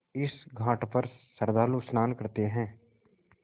इस घाट पर श्रद्धालु स्नान करते हैं